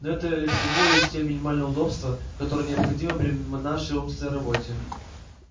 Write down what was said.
но это всего лишь те минимальные удобства которые необходимы при нашей умственной работе